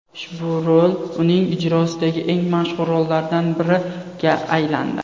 Ushbu rol uning ijrosidagi eng mashhur rollardan biriga aylandi.